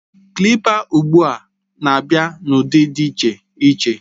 Klịpa ugbu a na-abịa n'ụdị dị iche iche